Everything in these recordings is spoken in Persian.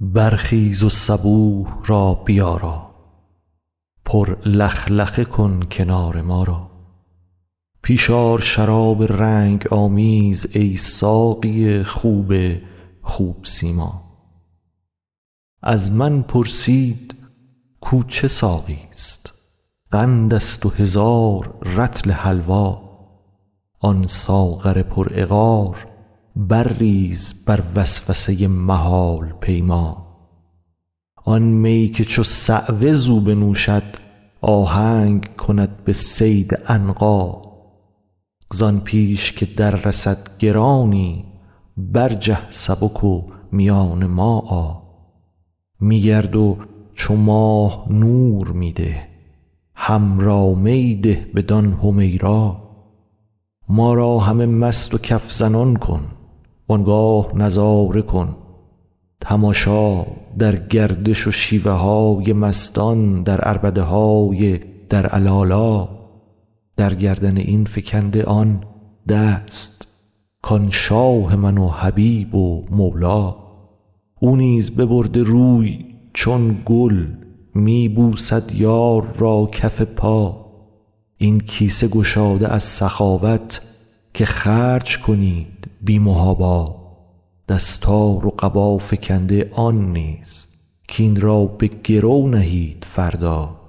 برخیز و صبوح را بیارا پر لخلخه کن کنار ما را پیش آر شراب رنگ آمیز ای ساقی خوب خوب سیما از من پرسید کو چه ساقیست قندست و هزار رطل حلوا آن ساغر پرعقار برریز بر وسوسه محال پیما آن می که چو صعوه زو بنوشد آهنگ کند به صید عنقا زان پیش که دررسد گرانی برجه سبک و میان ما آ می گرد و چو ماه نور می ده حمرا می ده بدان حمیرا ما را همه مست و کف زنان کن وان گاه نظاره کن تماشا در گردش و شیوه های مستان در عربده های در علالا در گردن این فکنده آن دست کان شاه من و حبیب و مولا او نیز ببرده روی چون گل می بوسد یار را کف پا این کیسه گشاده از سخاوت که خرج کنید بی محابا دستار و قبا فکنده آن نیز کاین را به گرو نهید فردا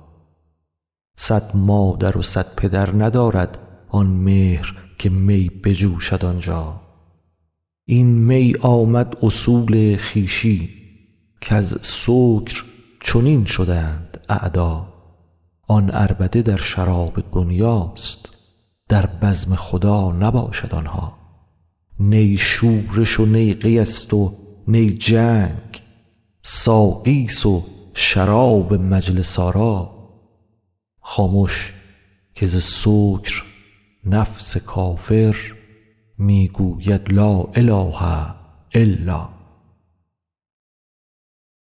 صد مادر و صد پدر ندارد آن مهر که می بجوشد آنجا این می آمد اصول خویشی کز سکر چنین شدند اعدا آن عربده در شراب دنیاست در بزم خدا نباشد آن ها نی شورش و نی قیست و نی جنگ ساقیست و شراب مجلس آرا خامش که ز سکر نفس کافر می گوید لا اله الا